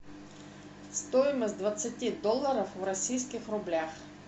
стоимость двадцати долларов в российских рублях